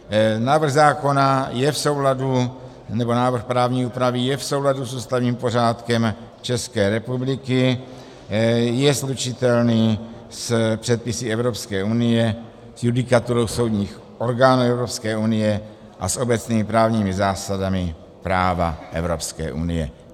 Návrh právní úpravy je v souladu s ústavním pořádkem České republiky, je slučitelný s předpisy Evropské unie, s judikaturou soudních orgánů Evropské unie a s obecnými právními zásadami práva Evropské unie.